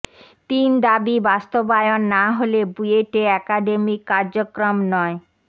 তিন দাবি বাস্তবায়ন না হলে বুয়েটে একাডেমিক কার্যক্রম নয়